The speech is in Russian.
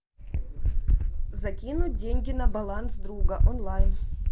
закинуть деньги на баланс друга онлайн